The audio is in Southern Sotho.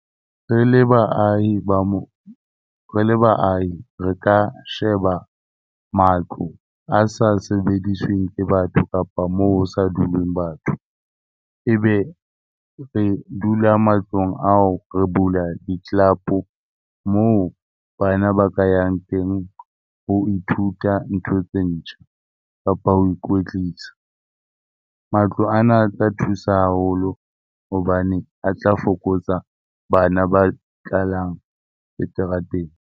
Re le baahi ba mo, re le baahi re ka sheba matlo a sa sebedisweng ke batho kapa moo ho sa duleng batho, ebe re dula matlong ao re bula di-club moo bana ba ka yang teng ho ithuta ntho tse ntjha kapa ho ikwetlisa. Matlo ana a tla thusa haholo hobane a tla fokotsa bana ba tlalang seterateng.